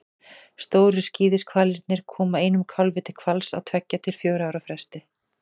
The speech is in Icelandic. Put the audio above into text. stóru skíðishvalirnir koma einum kálfi til hvals á tveggja til fjögurra ára fresti